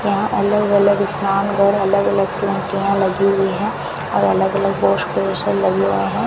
यहां अलग-अलग स्नान घर अलग-अलग टोंटीयाँ लगी हुई है और अलग-अलग वॉश बेसिन लगे हुए है।